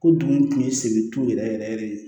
Ko dugu kun ye segin ton yɛrɛ yɛrɛ yɛrɛ de ye